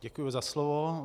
Děkuji za slovo.